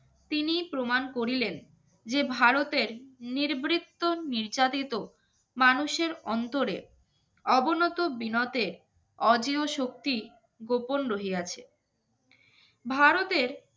তিনি প্রমাণ করিলেন যে ভারতের নিবৃত্ত নির্যাতিত মানুষের অন্তরে অবনত বিনতে অদৃশক্তি গোপন রহিয়াছে